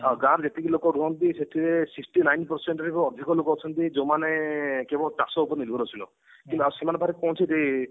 ଆଉ ଗାଁ ରେ ଯେତିକି ଲୋକ ରୁହନ୍ତି ସେଥିରେ sixty nine percent ରୁ ବି ଅଧିକ ଲୋକ ଅଛନ୍ତି ଯୋଉ ମାନେ କେବଳ ଚାଷ ଉପରେ ନିର୍ଭରଶୀଳ କି ସେମାନଙ୍କ ପାଖରେ କୌଣସି